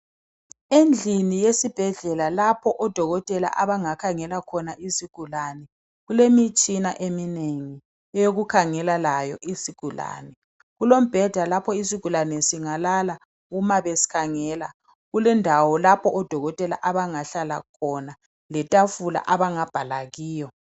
Endlini yesibhedlela lapho odokotela abangakhangela khona izigulane, kulemitshina eminengi eyokukhangela layo izigulane, kulombheda lapho izigulane singalala uma besikhangela, kulendawo lapho odokotela abangahlala khona letafula abangabhala kiyo.